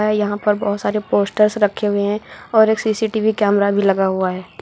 है यहां पर बहुत सारे पोस्टर्स रखे हुए हैं और एक सी_सी_टी_वी कैमरा भी लगा हुआ है।